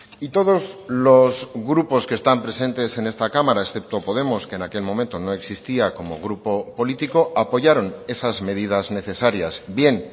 y todos los grupos que están presentes en esta cámara excepto podemos que en aquel momento no existía como grupo político apoyaron esas medidas necesarias bien